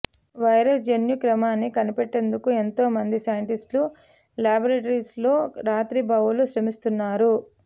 virus జన్యు క్రమాన్ని కనిపెట్టేందుకు ఎంతోమంది సైంటిస్టులు ల్యాబోరేటరీల్లో రాత్రింబవళ్లు శ్రమిస్తున్నారు